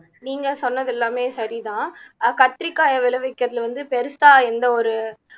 நீங்க சொன்னது எல்லாமே சரிதான் அஹ் கத்திரிக்காயை விளைவிக்கிறதுல வந்து பெருசா எந்த ஒரு